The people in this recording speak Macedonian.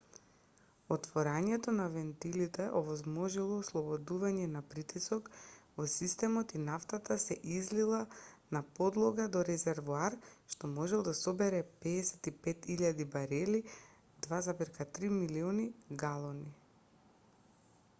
отворањето на вентилите овозможило ослободување на притисок во системот и нафтата се излила на подлога до резервоар што може да собере 55.000 барели 2,3 милиони галони